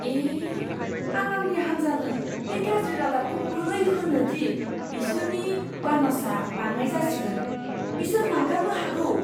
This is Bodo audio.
ए! आं आंनि हान्जानो बे गाज्रि रादाबखौ बोरै होनो दि बिसोरनि बानसआ बाङाइ जासिगोन? बिसोर नागारनो हागौ।